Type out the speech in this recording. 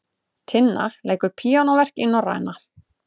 Tinna leikur píanóverk í Norræna